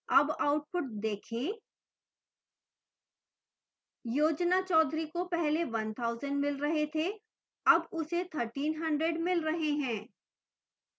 अब output देखें